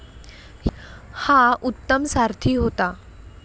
हा उत्तम सारथी होता.